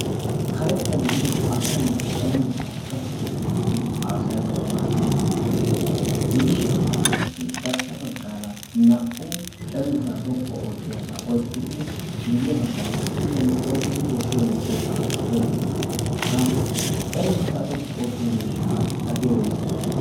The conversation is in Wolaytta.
karetta gidida asa na'i cenggurssaa xoqqu oottidi haasayanau maaddiya miishshai de'ees miishshaykka qassi garssa baggaara naa"u cenggurssaa xoqqu oottiyaasaa oyqqi uttidi miyye baggaara kushiyan oyqqidi tookki emettiyoosaakka oyqqi utiis ha cenggurssaa xoqqu oottiya miishshaa gatee woysee